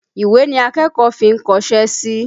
Ìwé ni akẹ́kọ̀ọ́ fi ń kọṣẹ́ sí.